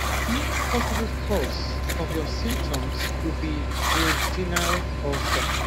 another possible cause of your symptoms could be duodenal ulcer